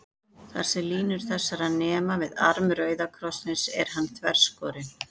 Þar, sem línur þessar nema við arm rauða krossins, er hann þverskorinn.